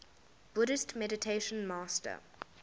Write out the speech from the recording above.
buddhist meditation master